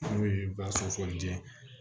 N'o ye basu fɔli jɛ ye